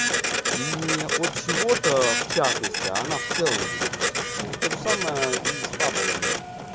не от чего-то в частности а она в целом будет вас лечить вот тоже самое и с фабулами